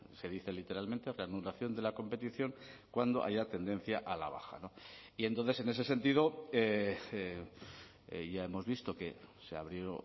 se dice literalmente reanudación de la competición cuando haya tendencia a la baja y entonces en ese sentido ya hemos visto que se abrió